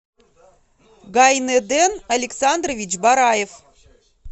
гайнеден александрович бараев